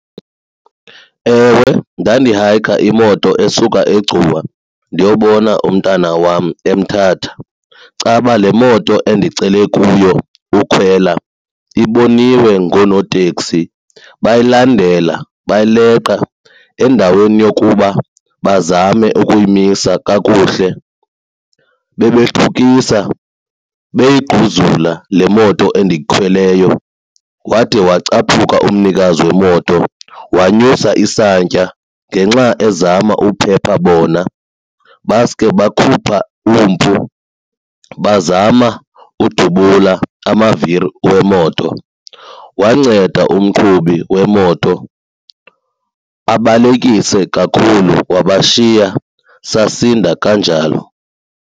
Ewe, ndandihayikha imoto esuka eGcuwa ndiyobona umntana wam eMthatha. Caba le moto endicele kuyo ukhwela iboniwe ngoonoteksi, bayilandela bayileqa. Endaweni yokuba bazame ukuyimisa kakuhle bebethukisa beyigquzula le moto endiyikhweleyo wade wacaphuka umnikazi wemoto wanyusa isantya ngenxa ezama ukuphepha bona baske bakhupha umpu bazama ukudubula amaviri wemoto. Wanceda umqhubi wemoto abalekise kakhulu wabashiya, sasinda kanjalo.